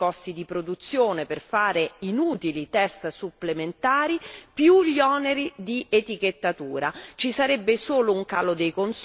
Quindi no all'aumento dei costi di produzione per fare inutili test supplementari oltre agli oneri di etichettatura.